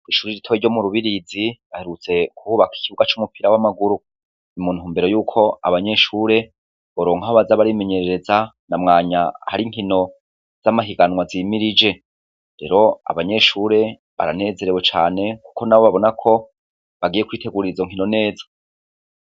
Ku ishuri ritowe ryo mu rubirizi baherutse guhubaka ikibuga c'umupira w'amaguru ni muntu mbero yuko abanyeshure boronka baza barimenyerereza na mwanya hari nkino z'amahiganwa zimirije rero abanyeshure baranezerewe cane kuko nabo babona ko bagiye kuiteguririzo nkino neza